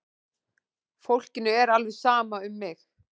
Fólkinu er alveg sama um mig!